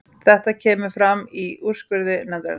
Þetta kemur fram í úrskurði nefndarinnar